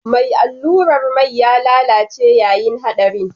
Mai allurar mai ya lalace yayin haɗarin